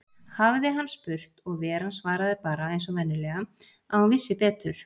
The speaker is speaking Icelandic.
hafði hann spurt, og Veran svaraði bara, eins og venjulega, að hún vissi betur.